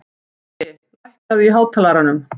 Baui, lækkaðu í hátalaranum.